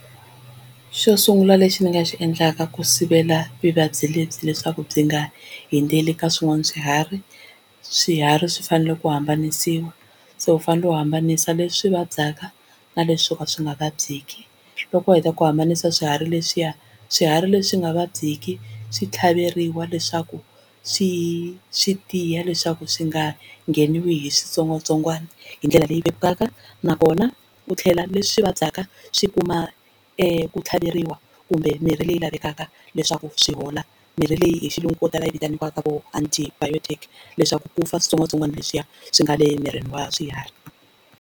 Xo sungula lexi ni nga xi endlaka ku sivela vuvabyi lebyi leswaku byi nga hundzeli ka swin'wana swiharhi, swiharhi swi fanele ku hambanisiwa so u fanele u hambanisa leswi swi vabyaka na leswi swo ka swi nga vabyiki. Loko u heta ku hambanisa swiharhi leswiya swiharhi leswi nga vabyeki swi tlhaveriwa leswaku swi swi tiya leswaku swi nga ngheniwi hi switsongwatsongwana hindlela leyi vekaka na kona u tlhela leswi vabyaka swi kuma ku tlhaveriwa kumbe mirhi leyi lavekaka leswaku swi hola mirhi leyi hi xilungu ko tala yi vitaniwaka ku antibiotics leswaku ku fa switsongwatsongwana leswiya swi nga le mirini wa swiharhi.